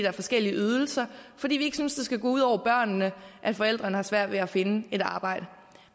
er forskellige ydelser fordi vi ikke synes det skal gå ud over børnene at forældrene har svært ved at finde et arbejde